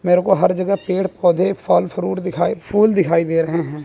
मेरे को हर जगह पेड़ पौधे फल फ्रूट दिखाई फूल दिखाई दे रहे हैं।